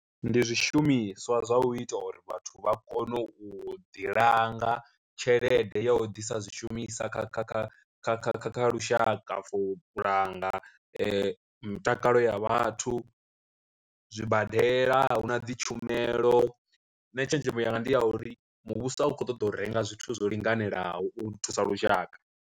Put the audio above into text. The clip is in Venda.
Ndi zwishumiswa zwa u ita uri vhathu vha kone u ḓi langa tshelede ya u ḓisa zwishumisa kha kha kha kha kha kha kha lushaka for u langa mutakalo ya vhathu zwibadela a huna dzi tshumelo, nṋe tshenzhemo yanga ndi ya uri muvhuso a u kho ṱoḓa u renga zwithu zwo linganelaho u thusa lushaka.